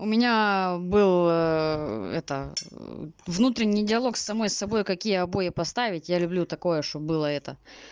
у меня был это внутренний диалог с самой с собой какие обои поставить я люблю такое что было это